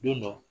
Don dɔ